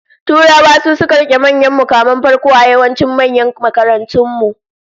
Turawa su suka rike manyan mukaman farko a yawancin manyan makarantun mu